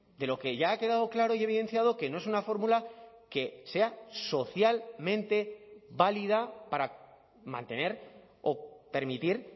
de lo que ya ha quedado claro y evidenciado que no es una fórmula que sea socialmente válida para mantener o permitir